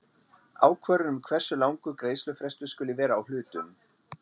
ákvörðun um hversu langur greiðslufrestur skuli vera á hlutum.